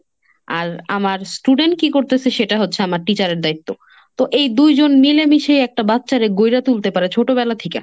আর আমার student কি করতেসে সেটা হচ্ছে আমার teacher এর দায়িত্ব। তো এই দুইজন মিলামিশাই একটা বাচ্চারে গ‌ইড়ে তুলতে পারে ছোট বেলা থিকা।